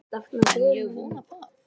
En ég vona það.